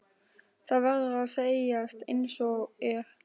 Það verður að segjast einsog er.